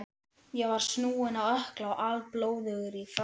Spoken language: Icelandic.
Ég var snúinn á ökkla og alblóðugur í framan.